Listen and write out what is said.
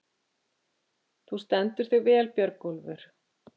Þú stendur þig vel, Björgólfur!